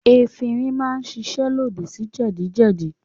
Efirin máa ń ṣiṣẹ́ lòdì sí jẹjẹrẹ.